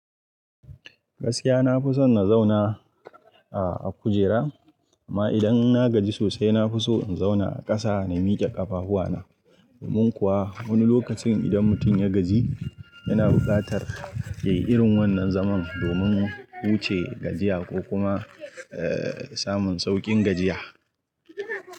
Gaskiya na fi son na zauna a kujera. Amma idan na gaji sosai, na fi so in zauna a ƙasa na miƙe ƙafahuwa na. Domin kuwa wani lokacin idan mutum ya gaji, yana buƙatar yayi irin wannan zaman domin huce gajiya ko kuma, eh, samun sauƙin gajiya.